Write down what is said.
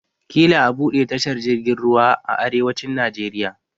Ƙila a buɗe tashar jirgin ruwa a arewacin Najeriya.